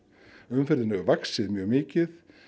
umferðin hefur vaxið mjög mikið